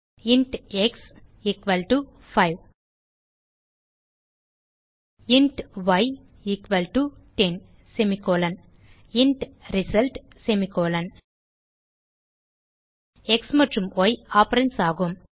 int x 5 int y 10 int result x மற்றும் y operands ஆகும்